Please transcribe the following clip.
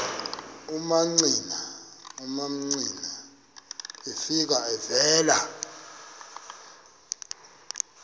umamcira efika evela